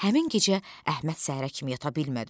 Həmin gecə Əhməd səhərə kimi yata bilmədi.